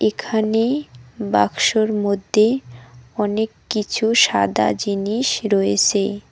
এখানে বাক্সর মধ্যে অনেককিছু সাদা জিনিস রয়েছে।